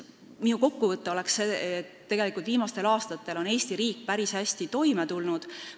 Minu kokkuvõte on see, et viimastel aastatel on Eesti riik päris hästi toime tulnud.